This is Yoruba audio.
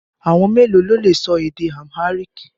Àwọn mélòó lo lè sọ èdè Amharic?